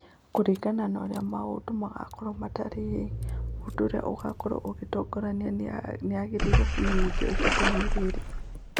Kũringana na ũrĩa maũndũ magakorũo matariĩ, mũndũ ũrĩa ũgaatoorania nĩ erĩgĩrĩirũo kũmenyithio ihinda-inĩ rĩrĩ.